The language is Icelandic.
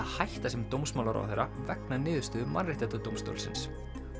hætta sem dómsmálaráðherra vegna niðurstöðu Mannréttindadómstólsins